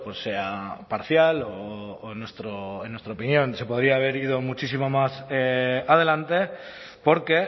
sea parcial o en nuestra opinión se podría haber ido muchísimo más adelante porque